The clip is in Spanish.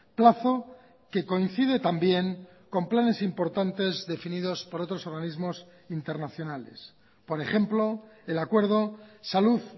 plazo que coincide también con planes importantes definidos por otros organismos internacionales por ejemplo el acuerdo salud